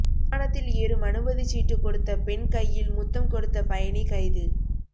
விமானத்தில் ஏறும் அனுமதிச் சீட்டு கொடுத்த பெண் கையில் முத்தம் கொடுத்த பயணி கைது